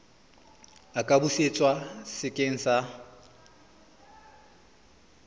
a ka busetswa sekeng sa